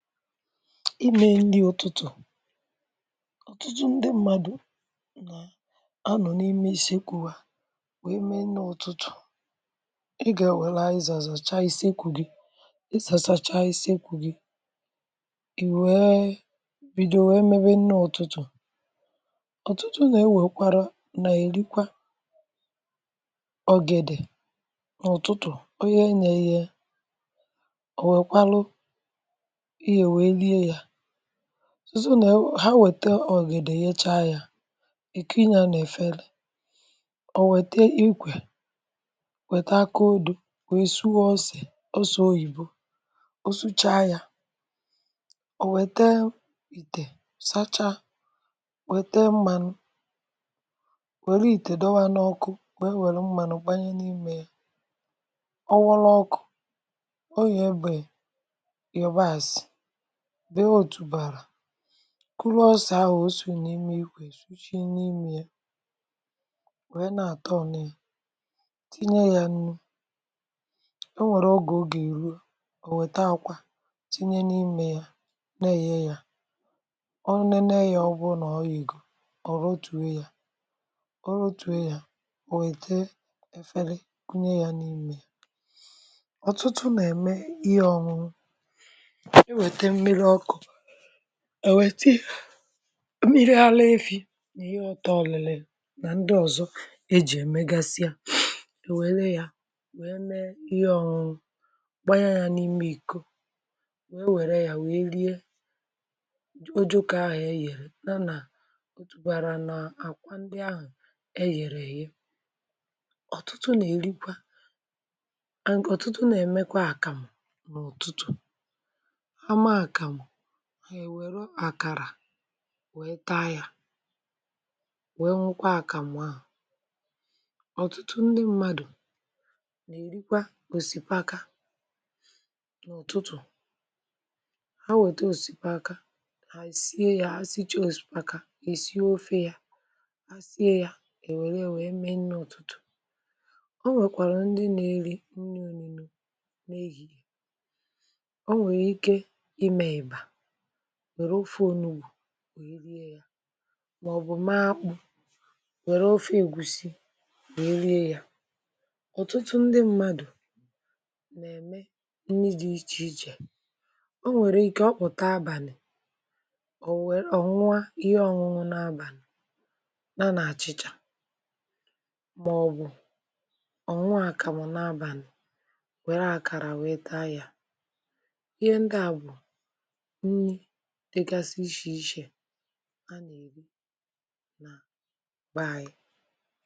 Imė nni ụ̀tụtụ̀. Ọtụtụ ndị mmadù na-anọ̀ n’ime èsekwu̇ hà wèe mee nnị ụ̀tụtụ̀, ị gà èwèla aziza zàcha ìsekwù gị, ị zàchaacha isekwù gị, ì wèe bìdo wèe mebe nni ụ̀tụtụ̀, ọ̀tụtụ nà-ewèkwara, nà-èrikwa ọgèdè n’ụ̀tụtụ̀, ọ̀ yenyė eyee, owekwaru ihe wee rie ya, ha wète ọ̀gèdè yecha yȧ, èkui yȧ nà èfere, ò wète ikwè̇, wète akódụ̀, weè sụo ọ̇sè, ọsò oyìbo, ọ sụchaa yȧ, ò wète ìtè sachaa, wète mmȧnụ̇, wère ìtè dọwa n’ọkụ, wee wère mmȧnụ̀ gbanye n’imė ya, ọwọlụ ọkụ̇, ọ ye ebè yabasị, bee otùbàrà, kụrụ ọse ahụ̀ osì nà ime ikwè sushi n’imė yȧ, wèe na-àtọ u, tinye yȧ nnu̇, o nwèrè ogè o gà-èru, ò nwèta àkwà tinye n’imė yȧ nà-èye yȧ, ọ nė Nee ya, ọbụrụ nà-oyeego, ọ ghotuo ya, ghotuo ya, ò wète èfeli kunye yȧ n’imė ya. Ọtụtụ nà-ème ihe ọṅụṅụ, e wète mmiri ọkụ, ewete mmiri ara efi̇ nà ihe ọtọ riririi nà ndị ọ̀zọ ejì èmegasị ya, ewèlee yȧ wèe mee ihe ọ̀nụnụ̀ gbanyȧ yȧ n’ime ìko, wèe wère yȧ wèe rie ojoko ahụ̀ e yèrè na nà otùbàrà nà àkwa ndị ahụ̀ e yèrè èye. ọ̀tụtụ nà-èrikwa (um)ọ̀tụtụ nà-èmekwa àkàmụ̀, eweru akara wee taa ya, wee ṅukwa àkàmụ̀ ahụ. Ọtụtụ ndị mmadụ na-erikwa osipaka n’ụ̀tụtụ̀, ha weta osipaka, ha esie ya, ha si ha ya, ha esie ofe ya, ha sie ya, ha ewere ya wee mee nni ụtụtụ. Ọ nwèkwàrà ndị nė-eri nni ọnụnọ, onwere ike ime ịba, nwère ofe onugbù wee rie ya màọ̀bụ̀ mee akpụ̇ nwère ofe ègusi wee rie ya. ọ̀tụtụ ndị mmadụ̀ nà-ème nni dị ichè ichè, o nwèrè ike ọ kpụ̀ta abàlị̀, ọ̀ nwe onua ihe ọ̀nụnụ n’abàlị̀ ya na àchị̀chà màọ̀bụ̀ ọ ṅụọ àkàmụ̀ n’abàlị̀, nwère àkàrà wèe taa ya, ihe ndia bụ nni dịgasị ichè iche a nà-èri n' be ayi.